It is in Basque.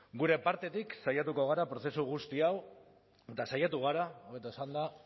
gure partetik saiatu gara prozesu guzti hau eta saiatu gara hobeto esanda